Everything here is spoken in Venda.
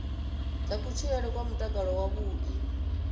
dza kutshilele kwa mutakalo wavhuḓi